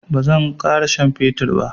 bazan kara shan septirin ba